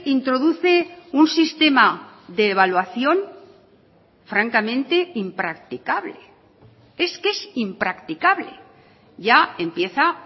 introduce un sistema de evaluación francamente impracticable es que es impracticable ya empieza